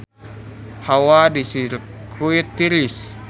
Hawa di Sirkuit Austria tiris